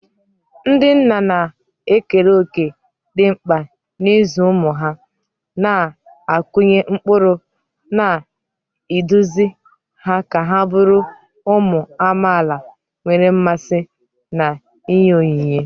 Ndị nna na-ekere òkè dị mkpa n'ịzụ ụmụ ha, na-akụnye ụkpụrụ, na iduzi ha ka ha bụrụ ụmụ amaala nwere mmasị na inye onyinye.